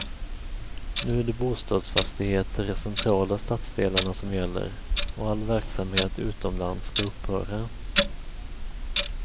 Nu är det bostadsfastigheter i centrala stadsdelarna som gäller och all verksamhet utomlands skall upphöra.